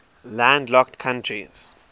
landlocked countries